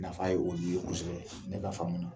Nafa ye olu ye kosɛbɛ ne ka faamu na.